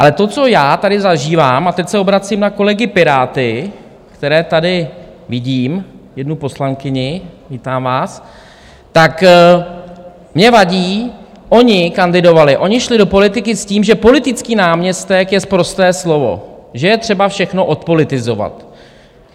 Ale to, co já tady zažívám - a teď se obracím na kolegy Piráty, které tady vidím, jednu poslankyni, vítám vás, tak mně vadí - oni kandidovali, oni šli do politiky s tím, že politický náměstek je sprosté slovo, že je třeba všechno odpolitizovat.